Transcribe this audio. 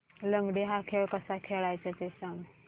लंगडी हा खेळ कसा खेळाचा ते सांग